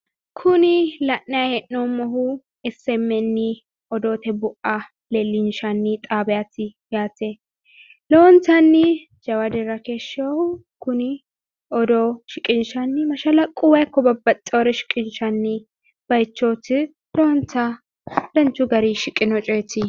Kuni la’nayi hee’noommohu esi emi eni odoote bua leellinshshanni odoote xaabiyaati yaate. Lowontanni jawa dirra keeshewoohu kuni odoo shiqinshshanni mashalaquwa ikko babbaxxewoore shiqinshshanni baayichooti. Lowonta danchu garinni shiqino coyeeti.